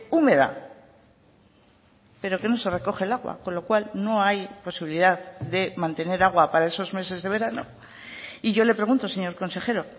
húmeda pero que no se recoge el agua con lo cual no hay posibilidad de mantener agua para esos meses de verano y yo le pregunto señor consejero